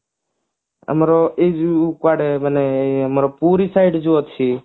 ଆମର ଏଇ ଏଇ କୁଆଡେ ମାନେ ଏଇ ଆମର ପୁରୀ side ଯୋଉ ଅଛି